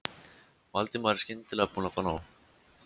Valdimar, skyndilega búinn að fá nóg.